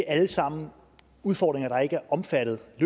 alt sammen er udfordringer der ikke er omfattet af